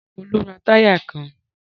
Rárá, Olú ń ra táyà kan.